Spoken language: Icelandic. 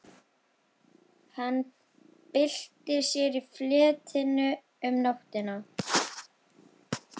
Hann bylti sér í fleti sínu um nóttina.